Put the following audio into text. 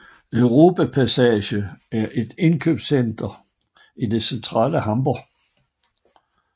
Europa Passage er et indkøbscenter i det centrale Hamborg